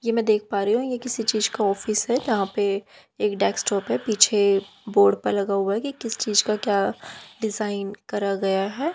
ये मैं देख पा रही हूं ये किसी चीज का ऑफिस है जहां पे एक डेस्कटॉप है। पीछे बोर्ड पे लगा हुआ कि किस चीज का क्या डिजाइन करा गया है।